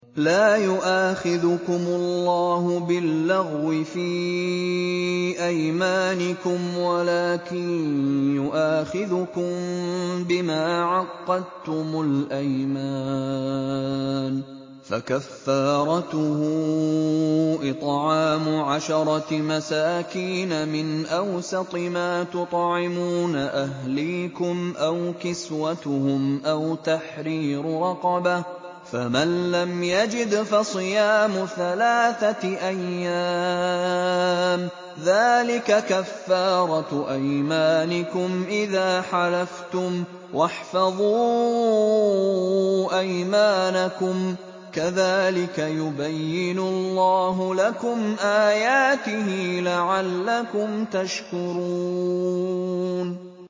لَا يُؤَاخِذُكُمُ اللَّهُ بِاللَّغْوِ فِي أَيْمَانِكُمْ وَلَٰكِن يُؤَاخِذُكُم بِمَا عَقَّدتُّمُ الْأَيْمَانَ ۖ فَكَفَّارَتُهُ إِطْعَامُ عَشَرَةِ مَسَاكِينَ مِنْ أَوْسَطِ مَا تُطْعِمُونَ أَهْلِيكُمْ أَوْ كِسْوَتُهُمْ أَوْ تَحْرِيرُ رَقَبَةٍ ۖ فَمَن لَّمْ يَجِدْ فَصِيَامُ ثَلَاثَةِ أَيَّامٍ ۚ ذَٰلِكَ كَفَّارَةُ أَيْمَانِكُمْ إِذَا حَلَفْتُمْ ۚ وَاحْفَظُوا أَيْمَانَكُمْ ۚ كَذَٰلِكَ يُبَيِّنُ اللَّهُ لَكُمْ آيَاتِهِ لَعَلَّكُمْ تَشْكُرُونَ